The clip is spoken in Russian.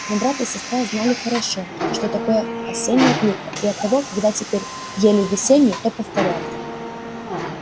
но брат и сестра знали хорошо что такое осенняя клюква и оттого когда теперь ели весеннюю то повторяли